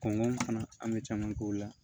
Kɔnkɔ fana an bɛ caman k'o la